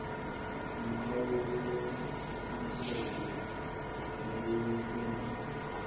umkhawulo lomiselwe eluhlwini